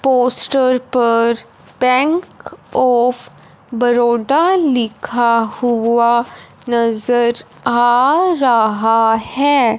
Poster पर Bank of Baroda लिखा हुआ नजर आ रहा हैं।